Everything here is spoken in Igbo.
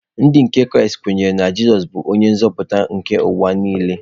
Ndị nke Kraịst kwenyere na Jizọs bụ onye nzọpụta nke ụwa nile.